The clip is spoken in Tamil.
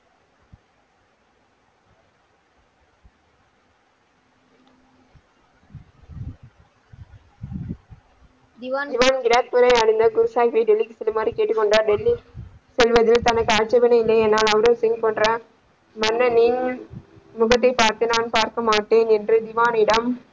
ராஜ் பூரை அடைந்த குரு சாகிப்பை டெல்லிக்கு செல்லுமாறு கேட்டுக் கொண்டார் டெல்லி செல்வது தனக்கு ஆட்சியபனை இல்லை மன்னனின முகத்தைப் பார்த்து நான் பார்க்க மாட்டேன் என்று ஜும்மானிடம்.